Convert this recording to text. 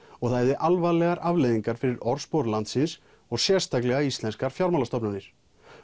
og það hefði alvarlegar afleiðingar fyrir orðspor landsins og sérstaklega íslenskar fjármálastofnanir